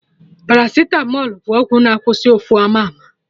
Paracitamọl bụ ọgwụ na-akwụsị ụfụ ama ama